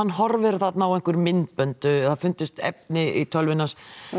horfir þarna á einhver myndbönd það finnast efni í tölvunni hans